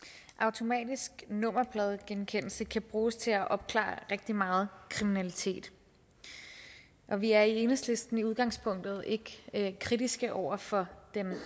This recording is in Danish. automatisk nummerpladegenkendelse kan bruges til at opklare rigtig meget kriminalitet og vi er i enhedslisten i udgangspunktet ikke kritiske over for den